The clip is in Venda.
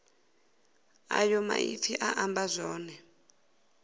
ayo maipfi a amba zwone